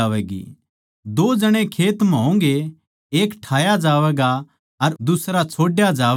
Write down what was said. दो जणे खेत म्ह होंगे एक ठाया जावैगा अर दुसरा छोड्या जावैगा